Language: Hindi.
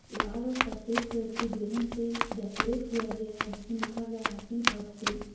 लाल और सफेद कलर के बैलून से डेकोरेट किया गया है जिसमें लिखा गया हैप्पी बर्थडे ।